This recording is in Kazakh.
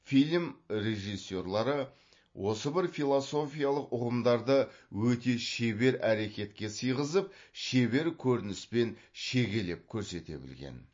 фильм режиссерлары осы бір философиялық ұғымдарды өте шебер әрекетке сыйғызып шебер көрініспен шегелеп көрсете білген